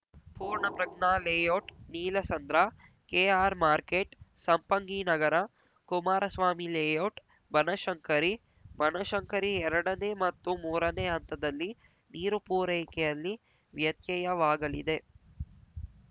Poornaprajna layout Neelasandra KR market Sampanginagar Kumara Swami layout Banashankari Banashankari ಎರಡ ನೇ ಮತ್ತು ಮೂರ ನೇ ಹಂತದಲ್ಲಿ ನೀರು ಪೂರೈಕೆಯಲ್ಲಿ ವ್ಯತ್ಯವಾಗಲಿದೆ